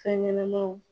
Fɛn ɲɛnɛmanw